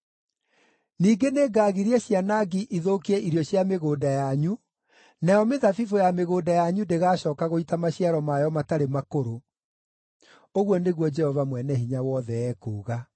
Ningĩ nĩngagiria cianangi ithũkie irio cia mĩgũnda yanyu, nayo mĩthabibũ ya mĩgũnda yanyu ndĩgaacooka gũita maciaro mayo matarĩ makũrũ.” Ũguo nĩguo Jehova Mwene-Hinya-Wothe ekuuga.